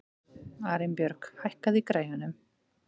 Arinbjörg, hækkaðu í græjunum.